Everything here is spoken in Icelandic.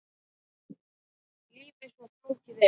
Lífið svo flókið er.